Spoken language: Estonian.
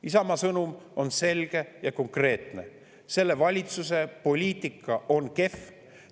Isamaa sõnum on selge ja konkreetne: selle valitsuse poliitika on kehv.